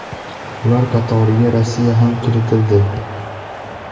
Ular qatoriga Rossiya ham kiritildi.